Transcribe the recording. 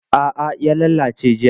A'a ya lalace jiya.